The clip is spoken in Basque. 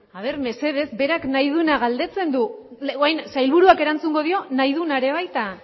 a ver mesedez berak nahi duena galdetzen du orain sailburuak erantzungo dio nahi duena baita